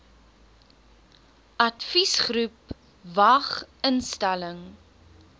adviesgroep vwag instelling